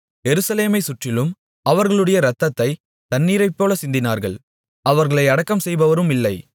எருசலேமைச் சுற்றிலும் அவர்களுடைய இரத்தத்தை தண்ணீரைப்போலச் சிந்தினார்கள் அவர்களை அடக்கம்செய்பவருமில்லை